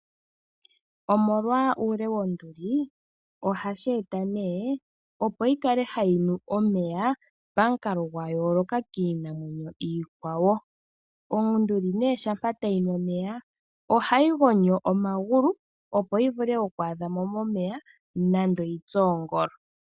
Omolwa uule wonduli, ohashi eta nee opo yi kale hayi nu omeya pamukalo gwa yooloka kiinamwenyo iikwawo. Onduli nee shampa tayi nu omeya ohayi gonyo omagulu opo yi vule oku adha mo momeya nando yi tse oongolo.